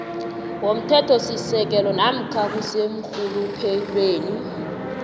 womthethosisekelo namkha kuseenrhuluphelweni